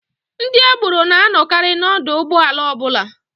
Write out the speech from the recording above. Ndị agboro na-anọkarị n'ọdụ ụgbọala ọbụla.